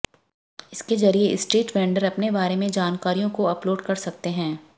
इसके जरिए street vendor अपने बारे में जानकारियों को अपलोड कर सकते हैं